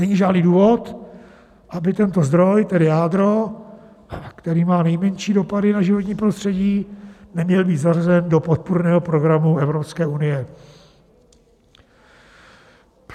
Není žádný důvod, aby tento zdroj, tedy jádro, který má nejmenší dopady na životní prostředí, neměl být zařazen do podpůrného programu Evropské unie.